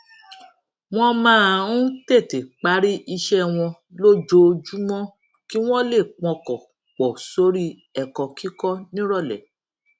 wón máa ń tètè parí iṣé wọn lójoojúmó kí wón lè pọkàn pò sórí èkó kíkó níròlé